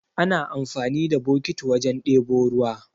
Ana amfani da bokiti wajen ɗebo ruwa